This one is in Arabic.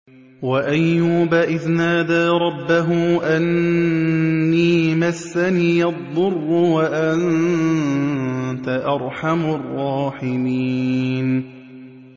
۞ وَأَيُّوبَ إِذْ نَادَىٰ رَبَّهُ أَنِّي مَسَّنِيَ الضُّرُّ وَأَنتَ أَرْحَمُ الرَّاحِمِينَ